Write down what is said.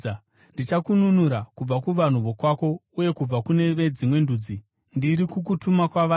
Ndichakununura kubva kuvanhu vokwako uye kubva kune veDzimwe Ndudzi. Ndiri kukutuma kwavari